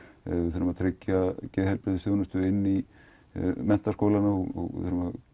þurfum að tryggja geðheilbrigðisþjónustu inn í menntaskólanna og